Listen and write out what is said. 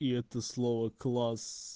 и это слово класс